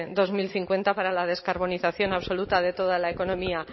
dos mil cincuenta para la descarbonización absoluta de toda la economía